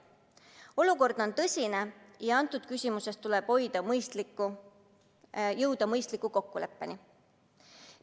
Olukord on tõsine ja selles küsimuses tuleb jõuda mõistliku kokkuleppeni.